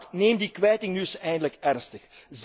Raad neem die kwijting nu eens eindelijk ernstig.